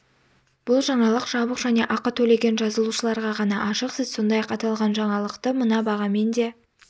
бұл жаңалық жабық және ақы төлеген жазылушыларға ғана ашық сіз сондай-ақ аталған жаңалықты мына бағамен де